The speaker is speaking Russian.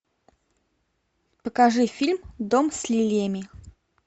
покажи фильм дом с лилиями